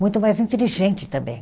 Muito mais inteligente também.